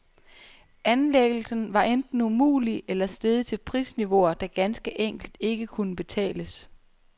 Anlæggelsen var enten umulig eller steget til prisniveauer, der ganske enkelt ikke kunne betales.